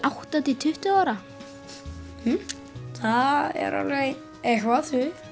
átta til tuttugu ára hmm það er alveg eitthvað